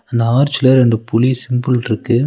அந்த ஆர்ச்ல ரெண்டு புலி சிம்பிள்ருக்கு .